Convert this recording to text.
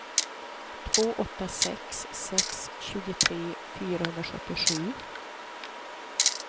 två åtta sex sex tjugotre fyrahundrasjuttiosju